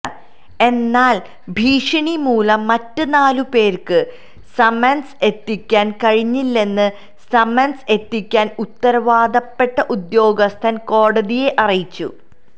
എന്നാൽ ഭീഷണി മുലം മറ്റ് നാലു പേർക്ക് സമൻസ് എത്തിക്കാൻ കഴിഞ്ഞില്ലെന്ന് സമൻസ് എത്തിക്കാൻ ഉത്തരവാദപ്പെട്ട ഉദ്യോഗസ്ഥൻ കോടതിയെ അറിയിച്ചു